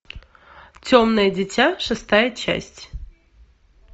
темное дитя шестая часть